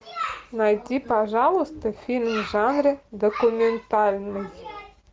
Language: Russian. найти пожалуйста фильм в жанре документальный